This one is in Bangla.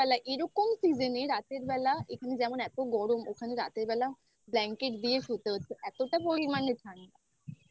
এরকম Season এ রাতের বেলা যেমন এত গরম ওখানে রাতের বেলা Blanket দিয়ে শুতে হয়েছে এতটা পরিমাণে ঠান্ডা